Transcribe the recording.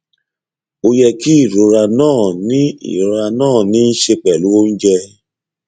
ó yẹ kí ìrora náà ní ìrora náà ní í ṣe pẹlú oúnjẹ